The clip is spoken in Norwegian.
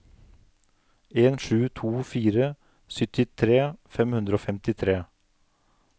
en sju to fire syttitre fem hundre og femtitre